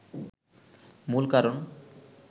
মূল কারণ